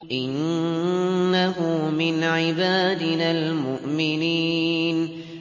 إِنَّهُ مِنْ عِبَادِنَا الْمُؤْمِنِينَ